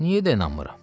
Niyə də inanmıram?